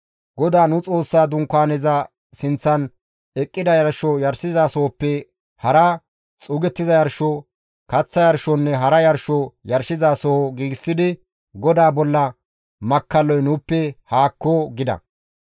GODAA nu Xoossa Dunkaaneza sinththan eqqida yarsho yarshizasohoppe hara, xuugettiza yarsho, kaththa yarshonne hara yarsho yarshizasoho giigsidi GODAA bolla makkalloy nuuppe haakko!» gida.